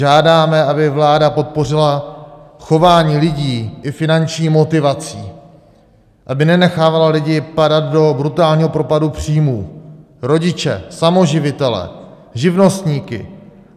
Žádáme, aby vláda podpořila chování lidí i finanční motivací, aby nenechávala lidi padat do brutálního propadu příjmů, rodiče, samoživitele, živnostníky.